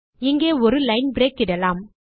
இங்கே ஒரு line break இடலாம்